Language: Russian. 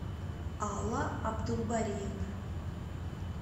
алла абдулбариевна